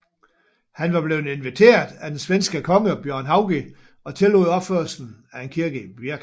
Han var blevet inviteret af den svenske konge Bjørn Haugi og tillod opførelsen af en kirke i Birka